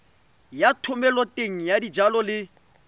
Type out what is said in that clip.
ya thomeloteng ya dijalo le